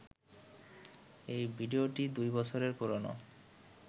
এই ভিডিওটি দুই বছরের পুরনো